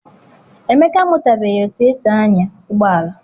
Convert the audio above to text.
Emeka amụtabeghị etu esi anya ụgbọala.